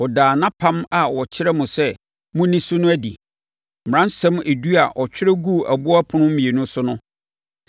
Ɔdaa nʼapam a ɔkyerɛɛ mo sɛ monni so no adi; mmaransɛm edu a ɔtwerɛɛ guu aboɔ ɛpono mmienu so no.